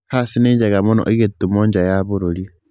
Hass nĩ njega mũno ĩgĩtũmwo nja ya bũrũri